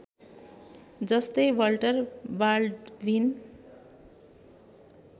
जस्तै Walter Baldwin